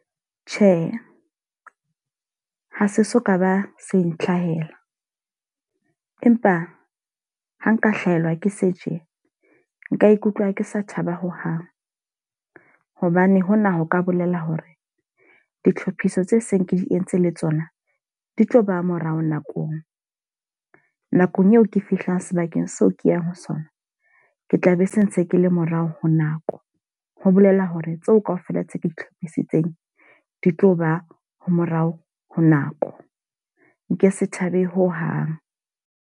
Tjhe, ha se so ka ba se ntlhahela. Empa ha nka hlahelwa ke se tje, nka ikutlwa ke sa thaba hohang. Hobane hona ho ka bolela hore ditlhophiso tse seng ke di entse le tsona, di tlo ba morao nakong. Nakong eo ke fihlang sebakeng seo ke yang ho sona, ke tla be se ntse ke le morao ho nako. Ho bolela hore tseo ka ofela tse ke itlhopisitseng di tlo ba ha morao ho nako. Nke se thabele ho hang.